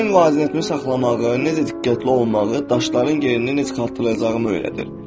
Mənim vaziyətimi saxlamağı, necə diqqətli olmağı, daşların yerini necə xatırlayacağımı öyrədir.